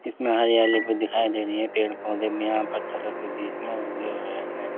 इसमें हरियाली भी दिखाई दे रही है पेड़ पौधे भी यहाँ पत्थरों के बीच में उगे हुए हैं।